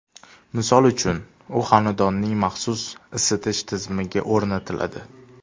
Misol uchun, u xonadonning maxsus isitish tizimiga o‘rnatiladi.